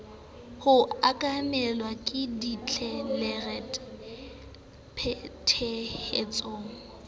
ho okamelwa ke ditlelereke phethahatsong